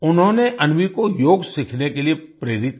उन्होंने अन्वी को योग सीखने के लिए प्रेरित किया